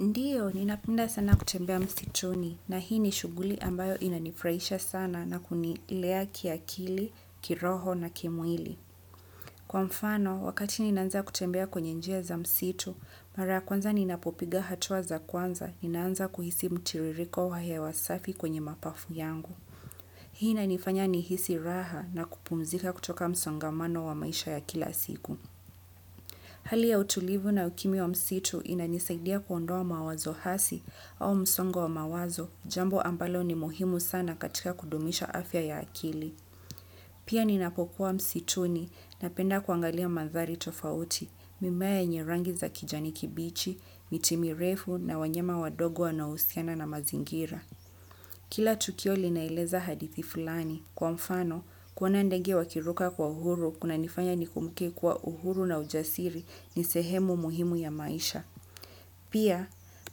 Ndiyo, ninapenda sana kutembea msituni, na hii ni shughuli ambayo inanifurahisha sana na kunilea kiakili, kiroho, na kimwili. Kwa mfano, wakati ninaanza kutembea kwenye njia za msitu, mara ya kwanza ninapopiga hatua za kwanza ninaanza kuhisi mtiririko wa hewa safi kwenye mapafu yangu. Hii inanifanya nihisi raha na kupumzika kutoka msongamano wa maisha ya kila siku. Hali ya utulivu na ukimya wa msitu inanisaidia kuondoa mawazo asi au msongo wa mawazo, jambo ambalo ni muhimu sana katika kudumisha afya ya akili. Pia ninapokuwa msituni napenda kuangalia mandhari tofauti, mimea yenye rangi za kijani kibichi, miti mirefu na wanyama wadogo wanaohusiana na mazingira. Kila tukio linaeleza hadithi fulani. Kwa mfano, kuona ndege wakiruka kwa uhuru kunanifanya nikumbuke kuwa uhuru na ujasiri ni sehemu muhimu ya maisha. Pia,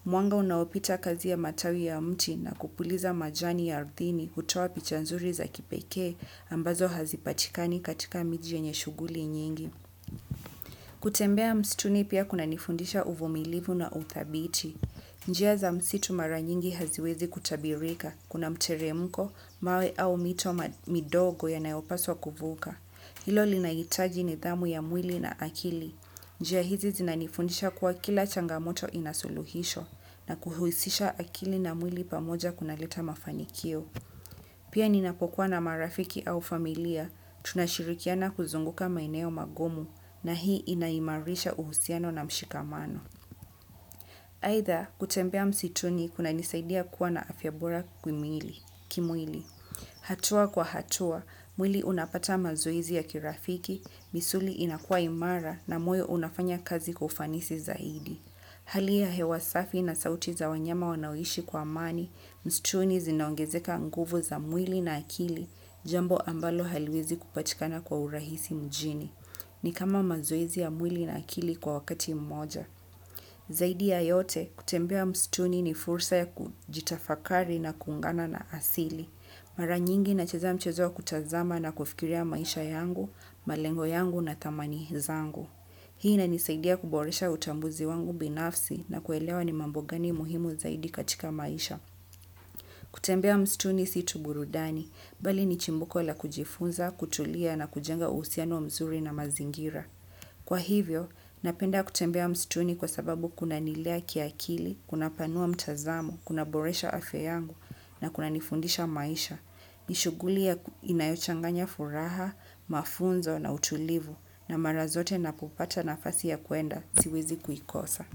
mwanga unaopita kati ya matawi ya mti na kupuliza majani ya ardhini hutoa picha nzuri za kipekee ambazo hazipatikani katika miji yenye shughuli nyingi. Kutembea msituni pia kunanifundisha uvumilivu na uthabiti. Njia za msitu mara nyingi haziwezi kutabirika kuna mteremko, mawe au mito midogo yanayopaswa kuvuka. Hilo linahitaji nidhamu ya mwili na akili. Njia hizi zinanifundisha kuwa kila changamoto ina suluhisho na kuhusisha akili na mwili pamoja kunaleta mafanikio. Pia ninapokuwa na marafiki au familia, tunashirikiana kuzunguka maeneo magumu na hii inaimarisha uhusiano na mshikamano. Aidha, kutembea msituni kunanisaidia kuwa na afya bora kimwili. Hatua kwa hatua, mwili unapata mazoezi ya kirafiki, misuli inakuwa imara na moyo unafanya kazi kwa ufanisi zaidi. Hali ya hewa safi na sauti za wanyama wanaoishi kwa amani msituni zinaongezeka nguvu za mwili na akili jambo ambalo haliwezi kupatikana kwa urahisi mjini. Ni kama mazoezi ya mwili na akili kwa wakati mmoja. Zaidi ya yote, kutembea msituni ni fursa ya kujitafakari na kuungana na asili. Mara nyingi nacheza mchezo wa kutazama na kufikiria maisha yangu, malengo yangu na thamani zangu. Hii inanisaidia kuboresha utambuzi wangu binafsi na kuelewa ni mambo gani muhimu zaidi katika maisha. Kutembea msituni si tu burudani, bali ni chimbuko la kujifunza, kutulia na kujenga uhusiano mzuri na mazingira. Kwa hivyo, napenda kutembea msituni kwa sababu kunanilea kiakili, kunapanua mtazamo, kunaboresha afya yangu na kunanifundisha maisha. Ni shughuli inayochanganya furaha, mafunzo na utulivu na mara zote ninapopata nafasi ya kwenda siwezi kuikosa.